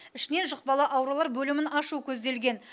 ішінен жұқпалы аурулар бөлімін ашу көзделген